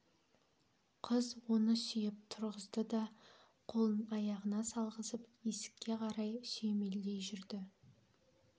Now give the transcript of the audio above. қыз оны сүйеп тұрғызды да қолын иығына салғызып есікке қарай сүйемелдей жүрді